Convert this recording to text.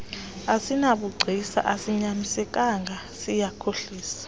asinabugcisa asinyanisekanga siyakhohlisa